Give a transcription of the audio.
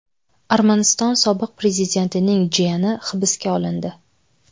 Armaniston sobiq prezidentining jiyani hibsga olindi.